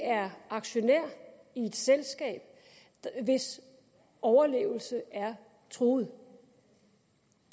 er aktionær i et selskab hvis overlevelse er truet